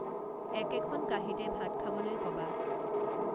একেখন কাহীঁতে ভাত খাবলৈ কবা